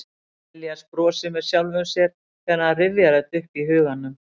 Elías brosir með sjálfum sér þegar hann rifjar þetta upp í huganum.